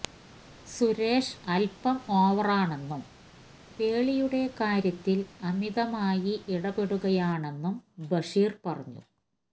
സുരേഷ് അല്പ്പം ഓവറാണെന്നും പേളിയുടെ കാര്യത്തില് അമിതമായി ഇടപെടുകയാണെന്നും ബഷീർ പറഞ്ഞു